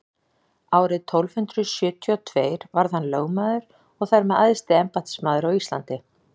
árið tólf hundrað sjötíu og tveir varð hann lögmaður og þar með æðsti embættismaður á íslandi